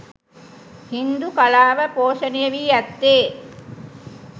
හින්දු කලාව පෝෂණය වී ඇත්තේ